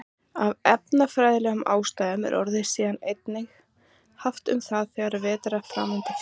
Af efnafræðilegum ástæðum er orðið síðan einnig haft um það þegar vetnisfrumeind er fjarlægð.